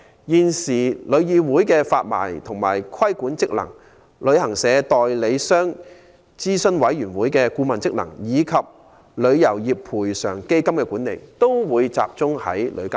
現時旅議會的發牌及規管職能、旅行代理商諮詢委員會的顧問職能，以及旅遊業賠償基金的管理，均會隸屬旅監局的職能範圍內。